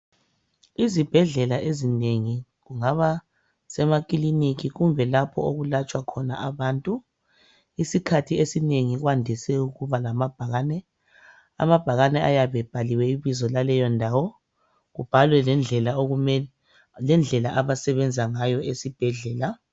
Izibhedlela ezinengi kumbe kungaba semakulinika lapho okulatshwa khona abantu. Isikhathi esinengi kwandise ukuba lamabhakane ayabe ebhaliwe ibizo lesibhedlela, kubhalwe lendlela abasebenza ngayo esibhedlela.